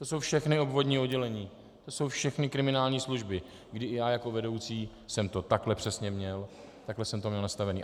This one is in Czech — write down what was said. To jsou všechna obvodní oddělení, to jsou všechny kriminální služby, kdy i já jako vedoucí jsem to takhle přesně měl, takhle jsem to měl nastavené.